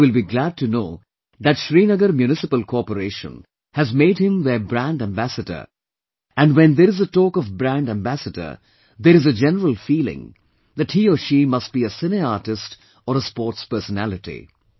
And you will be glad to know that Srinagar Municipal Corporation has made him their brand ambassador and when there is a talk of brand ambassador, there is a general feeling that he/she must be a Cine artist or a sportspersonality